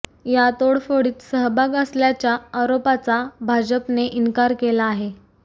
या तोडफोडीत सहभाग असल्याच्या आरोपाचा भाजपने इन्कार केला आहे